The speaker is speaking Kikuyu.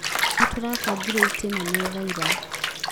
Nĩtũrabangire itĩ na metha ira